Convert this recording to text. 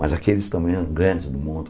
Mas aqueles também eram grandes do mundo.